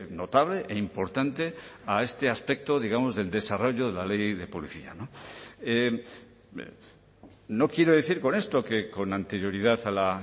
notable e importante a este aspecto digamos del desarrollo de la ley de policía no quiero decir con esto que con anterioridad a la